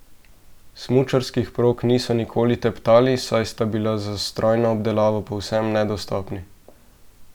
Smučarskih prog niso nikoli teptali, saj sta bili za strojno obdelavo povsem nedostopni.